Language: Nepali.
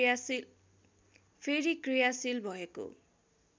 फेरि क्रियाशील भएको